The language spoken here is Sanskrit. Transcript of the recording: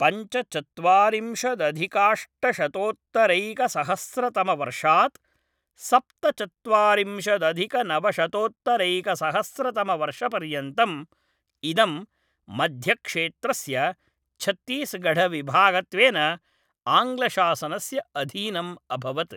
पञ्चचत्वारिंशदधिकाष्टशतोत्तरैकसहस्रतमवर्षात् सप्तचत्वारिंशदधिकनवशतोत्तरैकसहस्रतमवर्षपर्यन्तम् इदं मध्यक्षेत्रस्य छत्तीसगढविभागत्वेन आङ्ग्लशासनस्य अधीनम् अभवत्।